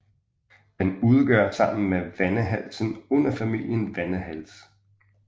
Den udgør sammen med vendehalsen underfamilien vendehalse